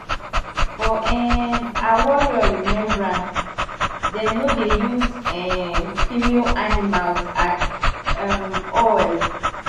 for um our warrior remembrance dem no dey use um female animals at um all